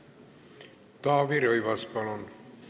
Taavi Rõivas, palun!